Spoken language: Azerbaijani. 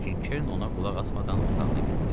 Lakin Ken ona qulaq asmadan otağına getdi.